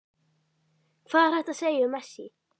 Hvað er hægt að segja um Messi?